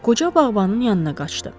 Qoca bağbanın yanına qaçdı.